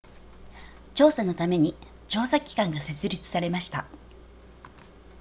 調査のために調査機関が設立されました